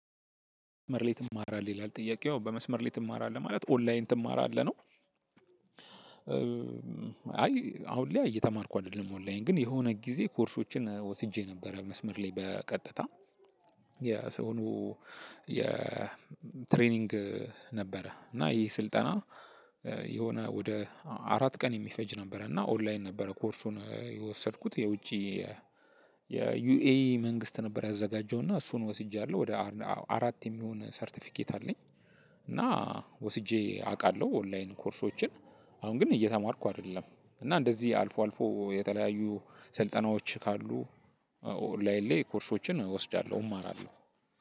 መስመር ላይ ትማራለህ ይላል ጥያቄው በመስመር ላይ ትማራለህ ማለት ኦንላይን ትማራለህ ነው። አይ አሁን ላይ እየተማርኩ አይደለም ኦንላይን ግን የሆነ ጊዜ ኮርሶችን ወስጄ ነበረ። መስመር ላይ በቀጥታ የሰው የትሬኒንግ ነበረ። እና ይሄ ስልጠና የሆነ ወደ አራት ቀን የሚፈጅ ነበረ እና ኦንላይን ነበረ። ኮርሱን የወሰድኩት የውጪ የዩኤይ መንግስት ነበር ያዘጋጀው እና እሱን ወስጃለሁ ወደ አራት የሚሆን ሰርተፊኬት አለኝ። እና ወስጄ አውቃለው ኦንላይን ኮርሶችን አሁን ግን እየተማርኩ አይደለም። እና እንደዚ አልፎ አልፎ የተለያዩ ስልጠናዎች ካሉ ኦንላይን ኮርሶችን እወስዳለው።